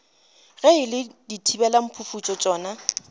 ge e le dithibelamphufutšo tšona